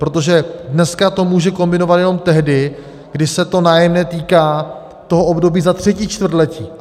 Protože dneska to může kombinovat jenom tehdy, kdy se to nájemné týká toho období za třetí čtvrtletí.